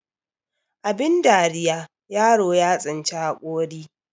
Abin dariya yaro ya tsinci hakuri